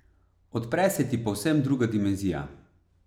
Odpre se ti povsem druga dimenzija.